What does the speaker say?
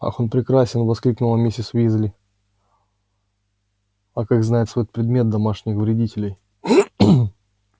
ах он прекрасен воскликнула миссис уизли а как знает свой предмет домашних вредителей